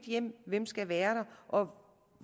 hjem hvem skal være der og